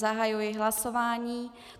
Zahajuji hlasování.